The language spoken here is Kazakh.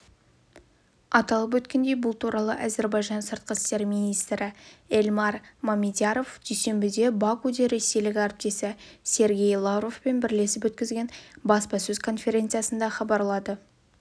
аталып өткендей бұл туралы әзербайжан сыртқы істер министрі эльмар мамедъяровдүйсенбіде бакуде ресейлік әріптесі сергей лавровпен бірлесіп өткізген баспасөз конференциясында хабарлады